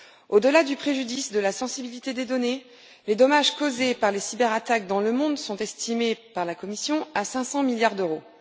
Au delà du préjudice sur le plan de la sensibilité des données, les dommages causés par les cyberattaques dans le monde sont estimés par la Commission à 500 milliards d'euros.